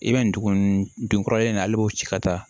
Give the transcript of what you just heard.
I bɛ nin dugu nin dun kɔrɔlen nin na hali b'o ci ka taa